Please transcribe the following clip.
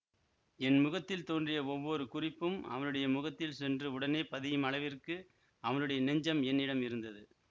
என் முகத்தில் தோன்றிய ஒவ்வொரு குறிப்பும் அவனுடைய முகத்தில் சென்று உடனே பதியும் அளவிற்கு அவனுடைய நெஞ்சம் என்னிடம் இருந்தது